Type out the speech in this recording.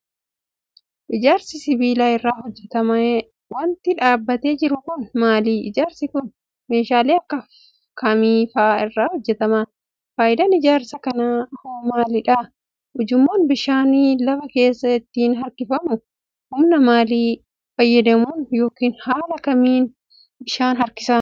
Ijaarsi sibiila irraa hojjatame wanti dhaabbatee jiru kun, maali? Ijaarsi kun ,meeshaalee akka kamii faa irraa hojjatame? Faayidaan ijaarsa kanaa hoo maal faa dha? Ujummoon bishaan lafa keessaa ittiin harkifamu humna maalii fayyadamuun yokin haala kamiin bishaan harkisa?